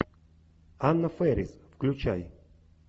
анна фэрис включай